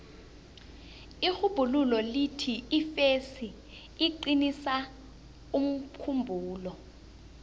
irhubhululo lithi ifesi iqinisa umkhumbulo